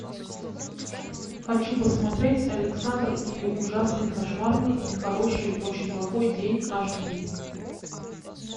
хочу посмотреть александр и ужасный кошмарный нехороший очень плохой день аш ди